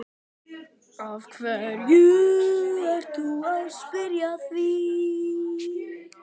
Af hverju ertu að spyrja að því.